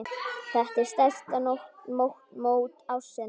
Þetta er stærsta mót ársins.